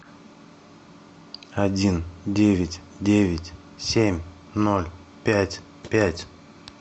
один девять девять семь ноль пять пять